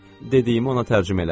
Dediyimi ona tərcümə elə.